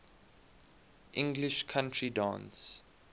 english country dance